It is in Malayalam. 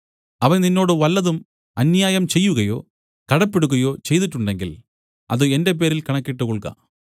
അവൻ നിന്നോട് വല്ലതും അന്യായം ചെയ്യുകയോ കടപ്പെടുകയോ ചെയ്തിട്ടുണ്ടെങ്കിൽ അത് എന്റെ പേരിൽ കണക്കിട്ടുകൊൾക